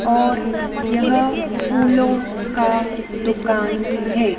और यह फूलों का दुकान है।